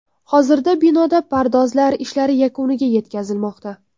Hozirda binoda pardozlar ishlari yakuniga yetkazilmoqda.